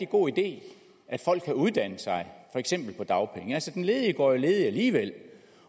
god idé at folk kan uddanne sig for eksempel på dagpenge altså den ledige går jo ledig alligevel